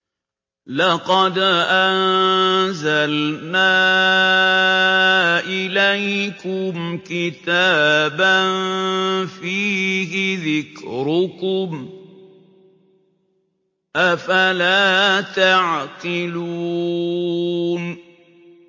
لَقَدْ أَنزَلْنَا إِلَيْكُمْ كِتَابًا فِيهِ ذِكْرُكُمْ ۖ أَفَلَا تَعْقِلُونَ